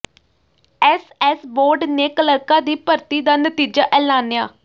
SS board ਨੇ ਕਲਰਕਾਂ ਦੀ ਭਰਤੀ ਦਾ ਨਤੀਜਾ ਐਲਾਨਿਆ